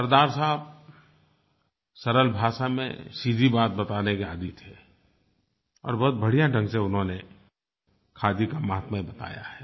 सरदार साहब सरल भाषा में सीधी बात बताने के आदी थे और बहुत बढ़िया ढंग से उन्होंने खादी का माहात्म्य बताया है